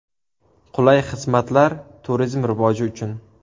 Qulay xizmatlar turizm rivoji uchun.